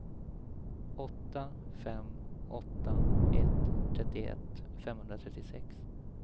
åtta fem åtta ett trettioett femhundratrettiosex